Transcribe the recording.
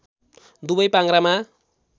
दुवै पाङ्ग्रामा